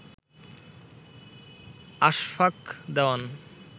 Ashfaq Dewan